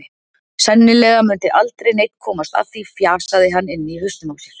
Sennilega mundi aldrei neinn komast að því, fjasaði hann inni í hausnum á sér.